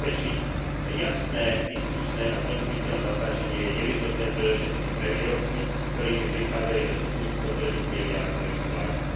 Zabezpečiť jasné, výstižné a zrozumiteľné označenie je nevyhnutné predovšetkým pre výrobky, s ktorými prichádzajú do styku spotrebitelia, ktorí sú laici.